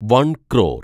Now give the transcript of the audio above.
വൻ ക്രോർ